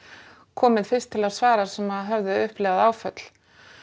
komið fyrst til að svara sem höfðu upplifað áföll